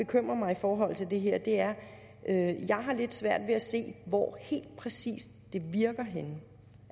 bekymrer mig i forhold til det her er at jeg har lidt svært ved at se hvor helt præcis virker henne